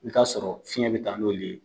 I ka sɔrɔ fiɲɛ bɛ taa n'olu ye.